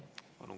Palun!